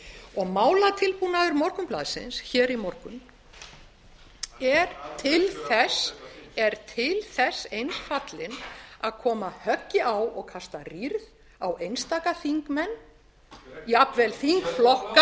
og málatilbúnaður morgunblaðsins í morgun forseta þingsins er til þess eins fallinn að koma höggi á og kasta rýrð á einstaka þingmenn jafnvel þingflokka og kannski ekki síst